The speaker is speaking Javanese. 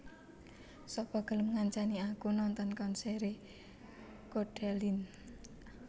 Sapa gelem ngancani aku nonton konsere Codaline